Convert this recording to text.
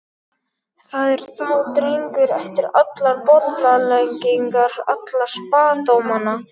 Það er þá drengur eftir allar bollaleggingarnar, alla spádómana!